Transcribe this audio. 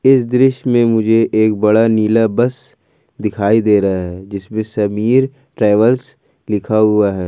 इस दृश्य में मुझे एक बड़ा नीला बस दिखाई दे रहा है जिसमें समीर ट्रेवल्स लिखा हुआ है।